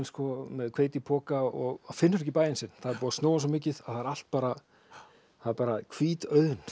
með hveitipoka og finnur ekki bæinn sinn það er búið að snjóa svo mikið að það er allt bara bara hvít auðn